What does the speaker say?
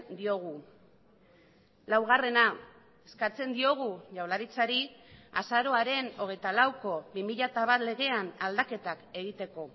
diogu laugarrena eskatzen diogu jaurlaritzari azaroaren hogeita lauko bi mila bat legean aldaketak egiteko